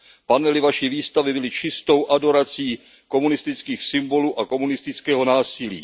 Panely vaší výstavy byly čistou adorací komunistických symbolů a komunistického násilí.